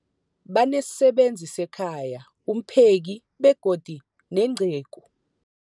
Banesisebenzi sekhaya, umpheki, begodu nenceku.